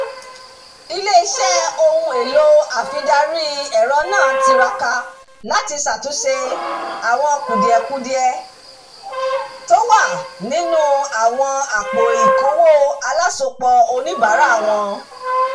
ilé-iṣẹ́ ohun-èlò àfidarí-ẹ̀rọ náà tiraka láti ṣàtúnṣe àwọn kùdìẹ̀kudiẹ tó wà nínú àwọn àpò-ìkówó alásopọ̀ oníbàárà wọn